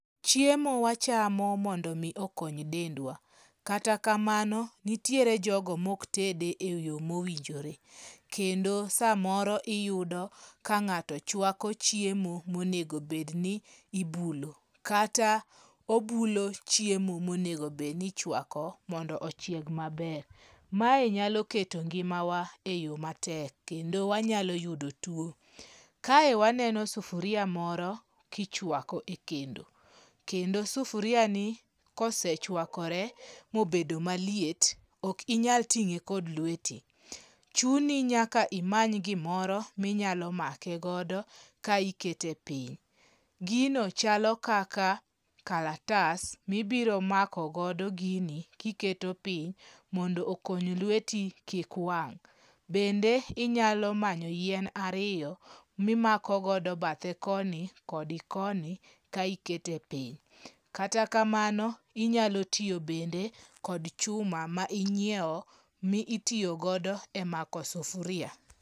Chiemo wachamo mondo omi okony dendwa. Kata kamano nitiere jogo mok tede e yo mowinjore kendo. Kendo samoro iyudo ka ng'ato chwako chiemo monego bedni ibulo, kata obulo chiemo monego bedni ichwako mondo ochieg maber. Mae nyalo keto ngimawa e yo matek kendo wanyalo yudo tuo. Kae waneno sufuria moro kichwako e kendo, kendo sufuriani kosechwakore mobedo maliet, ok inyal ting'e kod lweti. Chuni nyaka imany gimoro minyalo make godo ka ikete piny. Gino chalo kaka kalatas mibiro makogodo gini kiketo piny mondo okony lweti kik wang'. Bende inyalo manyo yien ariyo mimako godo badhe koni kod koni ka ikete piny. Kata kamano, inyalo tiyo bende kod chuma ma inyiewo mitiyo godo e mako sufuria.